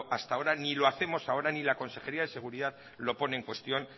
hasta ahora ni lo hacemos ahora ni la consejería de seguridad lo pone en cuestión